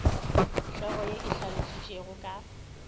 hlogo ye e hlalošitšwego ka